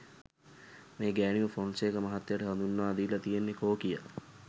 මේ ගෑණිව ෆොන්සේකා මහත්තයට හඳුන්වලදීල තියෙන්නෙ කෝකියා.